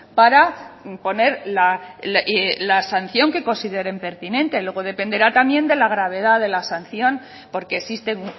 para poner la sanción que consideren pertinente luego dependerá también de la gravedad de la sanción porque existen